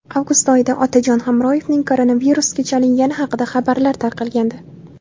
Avgust oyida Otajon Hamroyevning koronavirusga chalingani haqida xabarlar tarqalgandi.